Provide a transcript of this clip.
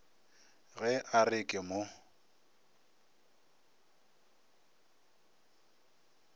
ge a re ke mo